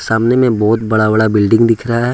सामने मे बहोत बड़ा बड़ा बिल्डिंग दिख रहा है।